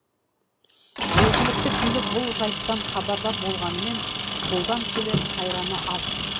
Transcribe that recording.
жергілікті билік бұл жайттан хабардар болғанымен қолдан келер қайраны аз